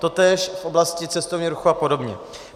Totéž v oblasti cestovního ruchu a podobně.